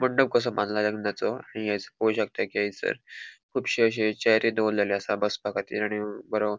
मंडप कसो बांधला लग्नाचो आणि हैस पोळोक शकता की हैसर कुबशे अशे चेअरी दोवरलेले आसा बसपाखातीर आणि बरो --